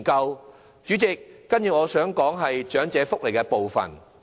代理主席，接着我想談談長者福利的部分。